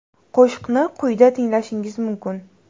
Qo‘shiqni quyida tinglashingiz mumkin.